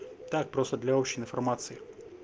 так просто для общей информации